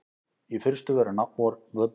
Í fyrstu voru námskröfurnar takmarkaðar.